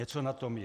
Něco na tom je.